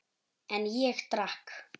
En ég drakk.